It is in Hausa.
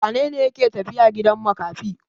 Wane ne yake tafiya gidan makafi?